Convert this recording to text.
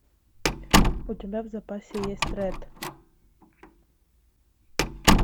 у тебя в запасе есть рэд